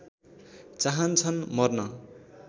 चाहन्छन् मर्न